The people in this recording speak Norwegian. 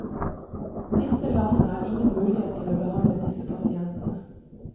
Disse landene har ingen mulighet til å behandle disse pasientene.